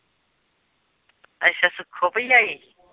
ਅੱਛਾ ਸੁੱਖੋ ਭੂਈ ਆਈ।